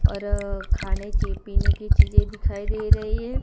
और खाने की पीने की चीजे दिखाई दे रही है।